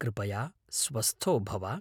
कृपया स्वस्थो भव।